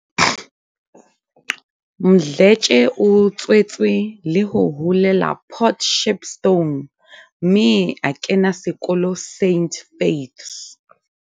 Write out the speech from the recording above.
Mdletshe o tswetswe le ho holela Port Shepstone mme a kena sekolo St Faiths.